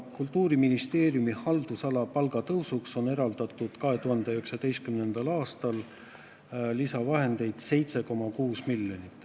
Kultuuriministeeriumi haldusala palgatõusuks on eraldatud 2019. aastal lisaraha 7,6 miljonit.